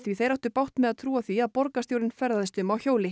þeir áttu bágt með að trúa því að borgarstjórinn ferðaðist um á hjóli